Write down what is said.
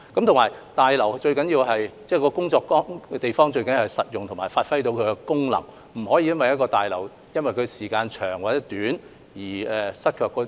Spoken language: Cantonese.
此外，大樓是工作的地方，最重要的是實用及能夠發揮功能，不能因為大樓使用時間太長而無法發揮功能。